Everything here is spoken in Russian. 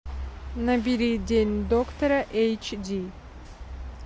набери день доктора эйч ди